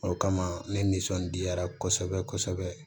O kama ne nisɔndiyara kosɛbɛ kosɛbɛ